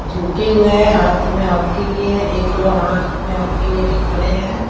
झुके हुए हैं हाथ में हॉकी लिए एक लोग हाथ में हॉकी लेके खड़े हैं।